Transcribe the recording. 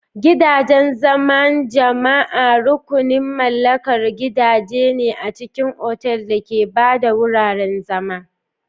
Gidajen zaman jama'a rukunin mallakar gidaje ne a cikin otal da ke ba da wuraren zama.